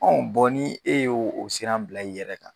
ni e y'o o siran bila i yɛrɛ kan